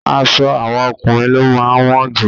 Aṣọ àwọn ọkùnrin ló máa wọ́n jù.